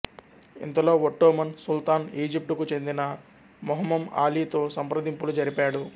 ఇంతలో ఒట్టోమన్ సుల్తాన్ ఈజిప్టుకు చెందిన మెహ్మెమ్ అలీతో సంప్రదింపులు జరిపాడు